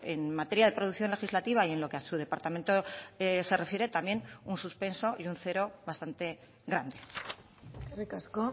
en materia de producción legislativa y en lo que a su departamento se refiere también un suspenso y un cero bastante grande eskerrik asko